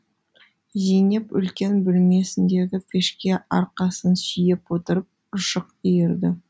зейнеп үлкен бөлмесіндегі пешке арқасын сүйеп отырып ұршық иірді